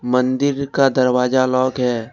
मंदिर का दरवाजा लॉक है।